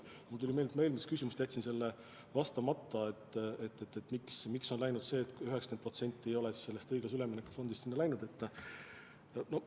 Mulle tuli meelde, et ma jätsin vastamata eelmisele küsimusele, miks on nii, et 90% sellest õiglase ülemineku fondist sinna pole läinud.